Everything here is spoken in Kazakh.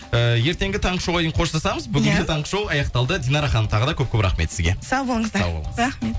ііі ертеңгі таңғы шоуға дейін қоштасамыз бүгінгі таңғы шоу аяқталды динара ханым тағы да көп көп рахмет сізге сау болыңыздар рахмет